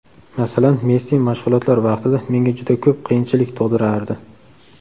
Masalan, Messi mashg‘ulotlar vaqtida menga juda ko‘p qiyinchilik tug‘dirardi.